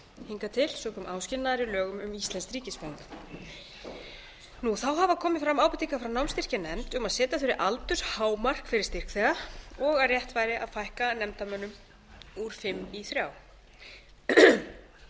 hingað til sökum áskilnaðar í lögum um íslenskt ríkisfang þá hafa komið fram ábendingar frá námsstyrkjanefnd um að setja þurfi aldurshámark fyrir styrkþega og að rétt væri að fækka nefndarmönnum úr fimm í þrjá